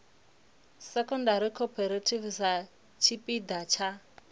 secondary cooperative sa tshipiḓa tsha